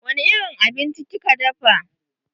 Wani irin abinci kika dafa?